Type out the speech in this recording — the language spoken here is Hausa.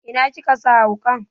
Ina kika sa wuƙan?